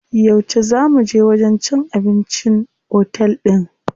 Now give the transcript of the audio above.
Yauce zaa muje wajen cin abincin otel din?